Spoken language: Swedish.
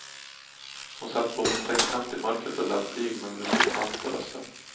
Hon satt på min sängkant i mörkret och lät blyg men beslutsam på rösten.